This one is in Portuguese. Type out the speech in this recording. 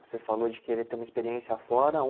Você falou de querer ter uma experiência afora. Um